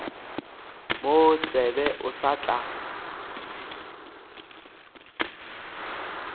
mo tsebe o sa tla